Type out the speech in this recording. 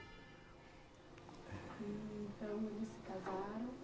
E então, eles se casaram.